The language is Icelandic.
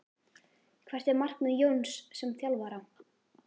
Hvert er markmið Jóns sem þjálfara?